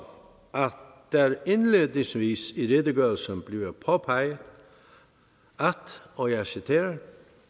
der er det indledningsvis i redegørelsen bliver påpeget og jeg citerer